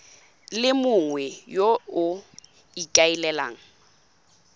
le mongwe yo o ikaelelang